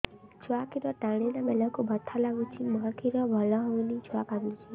ଛୁଆ ଖିର ଟାଣିଲା ବେଳକୁ ବଥା ଲାଗୁଚି ମା ଖିର ଭଲ ହଉନି ଛୁଆ କାନ୍ଦୁଚି